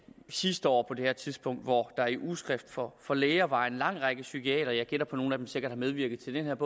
sidste år på det her tidspunkt hvor der i ugeskrift for for læger var en lang række psykiatere jeg gætter på at nogle af dem sikkert har medvirket til den